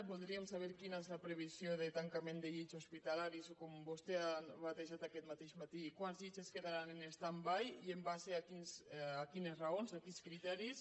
voldríem saber quina és la previsió de tancament de llits hospitalaris o com vostè ha batejat aquest mateix matí quants llits es quedaran en standby i en base a quines raons a quins criteris